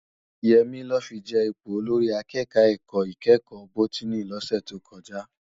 Yemi lò fi je ipó ólórì àkèkò èká ikèékò bótìní lòsè tókòjá